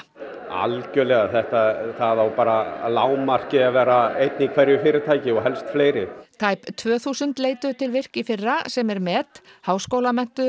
algjörlega það á bara að lágmarki að vera einn í hverju fyrirtæki og helst fleiri tæp tvö þúsund leituðu til virk í fyrra sem er met háskólamenntuðu